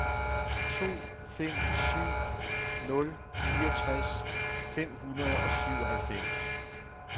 to fem syv nul fireogtres fem hundrede og syvoghalvfems